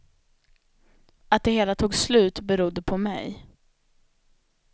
Att det hela tog slut berodde på mig.